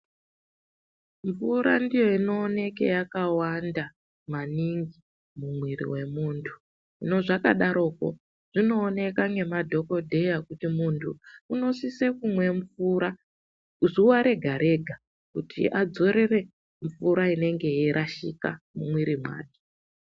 Mvura ndiyo inooneka yakawanda maningi mumwiri wemuntu . Hino zvakadaroko zvinooneka ngemadhokodheya kuti muntu unosise kumwa mvura, zuwa rega-rega kuti adzorere mvura inenge yeirashika mumwiri make.